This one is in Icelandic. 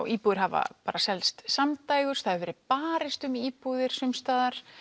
íbúðir hafa selst samdægurs það hefur verið barist um íbúðir sumsstaðar